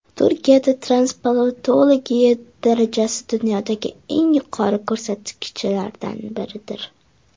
Turkiyada transplantologiya darajasi dunyodagi eng yuqori ko‘rsatkichlardan biridir.